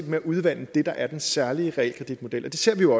med at udvande det der er den særlige realkreditmodel det ser vi jo